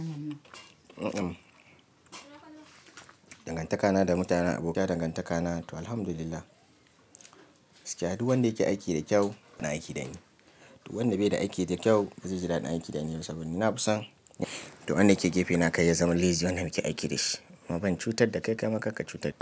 Dangantakana da mutanen abokaina dangantakana to Alhamdulillah. Gaskiya duk wanda yake aiki da kyau yana aiki da ni. Duk wanda bai da aiki da kyau ba zai ji daɗin aiki da ni ba saboda ni na fi san duk wanda yake gefe na kar ya zama lazy wanda muke aiki da shi. Kuma ban cutar da kai kam karka cutar da ni.